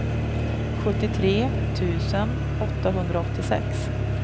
sjuttiotre tusen åttahundraåttiosex